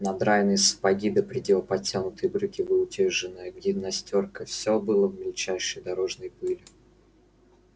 надраенные сапоги до предела подтянутые брюки выутюженная гимнастёрка все было в мельчайшей дорожной пыли